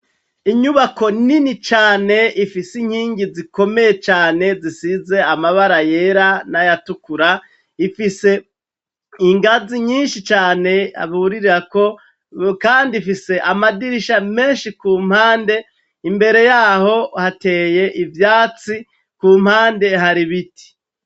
Inyubako nini cane ifise inkingi zikomeye cane zisize amabara yera n'ayatukura ifise ingazi nyinshi cane burirako kandi ifise amadirisha menshi kumpande. Imbere yaho hateye ivyatsi kumpande har'ibiti.